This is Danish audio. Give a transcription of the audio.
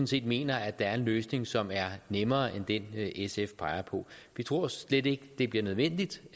set mener at der er en løsning som er nemmere end den sf peger på vi tror slet ikke det bliver nødvendigt